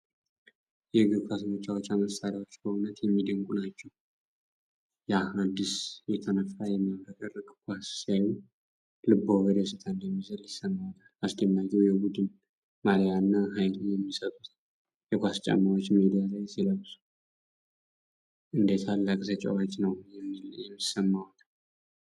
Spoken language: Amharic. የእግር ኳስ መጫወቻ መሳሪያዎች! በእውነት የሚደነቁ ናቸው! ያ አዲስ የተነፋ የሚያብረቀርቅ ኳስ ሲያዩ፣ ልብዎ በደስታ እንደሚዘል ይሰማዎታል! አስደናቂው የቡድን ማልያ እና ኃይል የሚሰጡት የኳስ ጫማዎች ሜዳ ላይ ሲለበሱ፣ እንደ ታላቅ ተጫዋች ነው የሚሰማዎት!